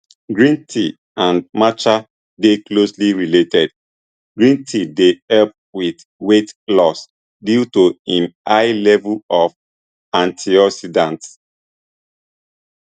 green tea and matcha dey closely related green tea dey help wit weight loss due to im high level of antioxidants